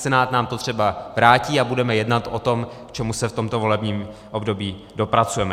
Senát nám to třeba vrátí a budeme jednat o tom, k čemu se v tomto volebním období dopracujeme.